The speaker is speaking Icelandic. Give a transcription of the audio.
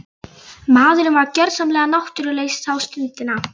Maðurinn var gjörsamlega náttúrulaus þá stundina.